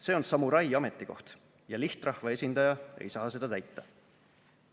See on samurai ametikoht ja lihtrahva esindaja ei saa seda täita.